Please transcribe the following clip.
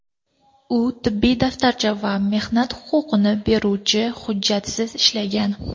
U tibbiy daftarcha va mehnat huquqini beruvchi hujjatsiz ishlagan.